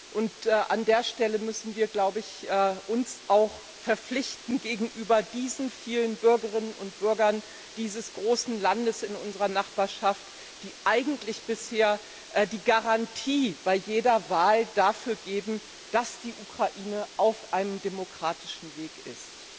Und an dieser Stelle müssen wir, glaube ich, uns auch verpflichten gegenüber diesen vielen Bürgerinnen und Bürgern dieses großen Landes in unserer Nachbarschaft, die eigentlich bisher die Garantie bei jeder Wahl dafür geben, dass die Ukraine auf einem demokratischen Weg ist.